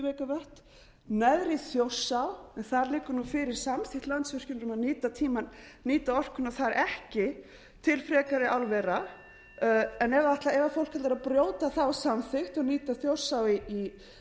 megavatt neðri þjórsá en þar liggur nú fyrir samþykkt landsvirkjunar um að nýta orkuna þar ekki til frekari álvera en ef fólk verður að brjóta þá samþykkt og nýta þjórsá í